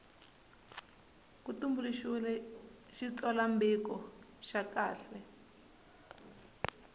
ku tumbuluxiwile xitsalwambiko xa kahle